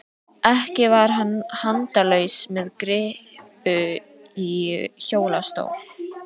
Ekki var hann handalaus með kryppu í hjólastól.